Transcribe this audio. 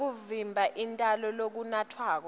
kwekuvimba intalo lokunatfwako